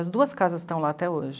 As duas casas estão lá até hoje.